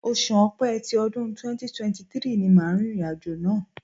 Oṣù Ọ̀pẹ tí ọdún 2023 ni màá rìnrìn àjò náà.